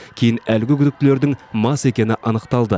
кейін әлгі күдіктілердің мас екені анықталды